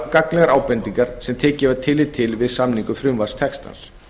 gagnlegar ábendingar sem tekið var tillit til við samningu frumvarpstextans